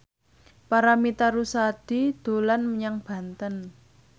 Paramitha Rusady dolan menyang Banten